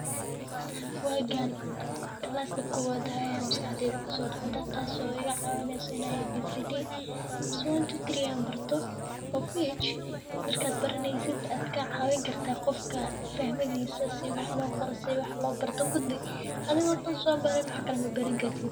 Wagan class kowad ahay a maskaxdeyda kusodacda tas o iga cawineyso abcd, mise markad baraneysid adkacawin karta qofka fahmadisa si wax liqoro si wax lo Barton kudi athiga tan somarn waxkale mabarankartit.